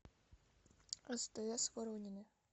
стс воронины